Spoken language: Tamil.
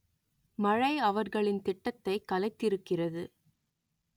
மழை அவர்களின் திட்டத்தை கலைத்திருக்கிறது